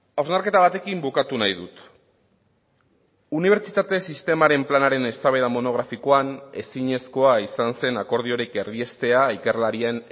hausnarketa batekin bukatu nahi dut unibertsitate sistemaren planaren eztabaida monografikoan ezinezkoa izan zen akordiorik erdiestea ikerlarien